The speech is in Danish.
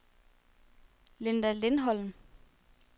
Linda Lindholm